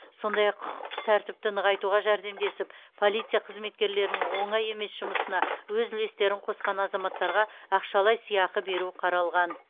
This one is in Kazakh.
сондай ақ құқықтық тәртіпті нығайтуға жәрдемдесіп полиция қызметкерлерінің оңай емес жұмысына өз үлестерін қосқан азаматтарға ақшалай сыйақы беру қаралған